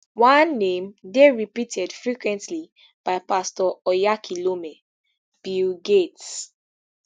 one name dey repeated frequently by pastor oyakhilome bill gates